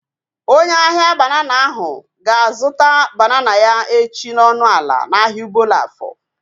Onye ahia banana ahu ga-azụta banana ya echi n'ọnụ ala n'ahia Obollo-Afor